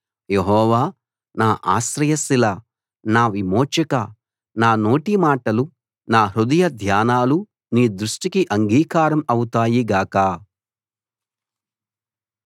యెహోవా నా ఆశ్రయశిలా నా విమోచకా నా నోటి మాటలు నా హృదయ ధ్యానాలు నీ దృష్టికి అంగీకారం అవుతాయి గాక